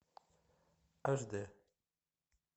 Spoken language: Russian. аш дэ